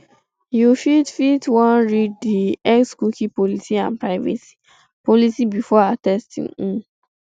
you fit fit wan read di xcookie policyandprivacy policybefore accepting um